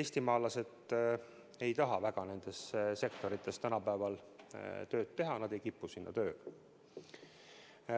eestimaalased ei taha väga nendes sektorites tänapäeval tööd teha, nad ei kipu sinna tööle.